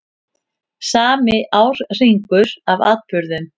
Sami árhringur af atburðum.